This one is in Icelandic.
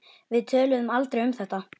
Við töluðum aldrei um þetta.